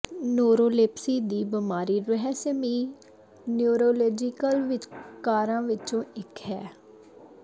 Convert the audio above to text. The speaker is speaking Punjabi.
ਨਰੋਲੇਪਸੀ ਦੀ ਬਿਮਾਰੀ ਰਹੱਸਮਈ ਨਿਊਰੋਲੋਜੀਕਲ ਵਿਕਾਰਾਂ ਵਿੱਚੋਂ ਇੱਕ ਹੈ